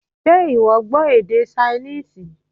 Ṣé ìwọ gbọ́ èdè Ṣainíìsì?